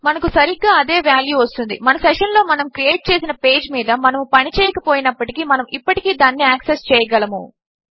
మనకు సరిగ్గా అదే వాల్యూ వస్తుంది మన సెషన్ లో మనము క్రియేట్ చేసిన పేజ్ మీద మనము పని చేయక పోయినప్పటికీ మనము ఇప్పటికీ దానిని యాక్సెస్ చేయగలము